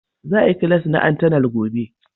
Za a yi class na antenal gobe.